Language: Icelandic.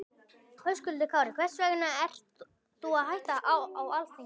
Höskuldur Kári: Hvers vegna ert þú að hætta á Alþingi?